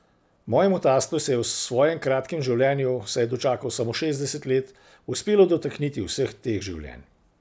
Mojemu tastu se je v svojem kratkem življenju, saj je dočakal samo šestdeset let, uspelo dotakniti vseh teh življenj.